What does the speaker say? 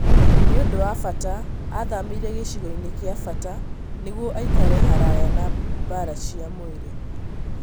Nĩũndũ wa bata athamĩre gĩcigo-inĩ gĩa bata nĩguo aikare haraya na mbara cia mwĩrĩ